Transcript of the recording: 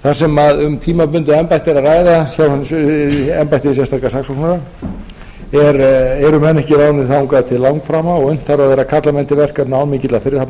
þar sem um tímabundið embætti er að ræða hjá embætti hins sérstaka saksóknara eru menn ekki ráðnir þangað til langframa og unnt þarf að vera að kalla menn til verkefna án mikillar fyrirhafnar